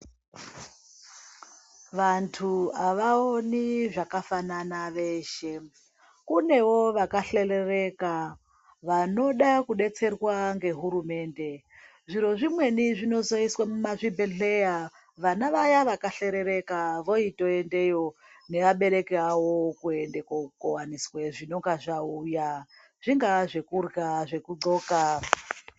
Vantu avaoni zvakafanana veshe kunevo vakahleleleka vanoda kudetserwa ngehurumende zviro zvimweni zvinozoiswe mumazvibhehleya vana vaya vakahleleleka voitoendeyo nevabereki vavo kuende kookowaniswe zvinenge zvauya zvingaa zvekurya ,zvekuxoka .......